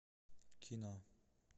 кино